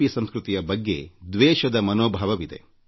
P ಸಂಸ್ಕೃತಿಯ ಬಗ್ಗೆ ದ್ವೇಷದ ಮನೋಭಾವವಿದೆ